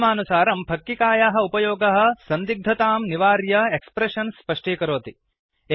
नियमानुसारम् फक्किकायाः उपयोगः सन्दिग्धतां निवार्य एक्स्प्रेषन्स् स्पष्टीकरोति